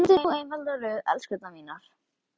Myndið nú einfalda röð, elskurnar mínar.